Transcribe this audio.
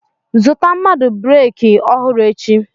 Zụta mmadụ breki ọhụrụ echi!